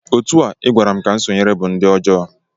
Otu a ị gwara m ka m sonyere bụ di ọjọọ